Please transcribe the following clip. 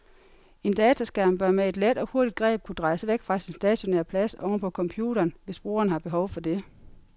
En dataskærm bør med et let og hurtigt greb kunne drejes væk fra sin stationære plads oven på computeren, hvis brugeren har behov for det.